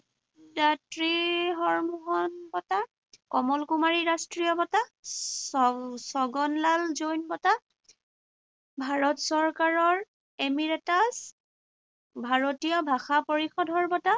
হৰমোহন বঁটা, কমল কুমাৰী ৰাষ্ট্ৰীয় বঁটা, ছ ছগনলাল জৈন বঁটা, ভাৰত চৰকাৰৰ এমিৰেটাছ, ভাৰতীয় ভাষা পৰিষদৰ বঁটা